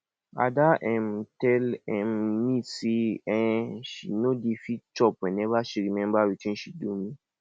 ada um tell um me say um she no dey fit chop whenever she remember wetin she do me